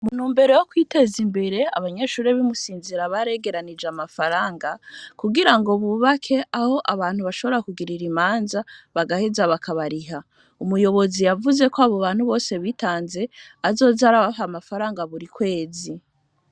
Mu ntumbero yo kwiteza imbere, abanyeshure b'i Musinzira baregeranije amafaranga kugira ngo bubake aho abantu bashobora kugirira imanza, bagaheza bakabariha. Umuyobozi yavuzeko abo bantu bose bitanze azoza arabaha amafaranga buri kwezi.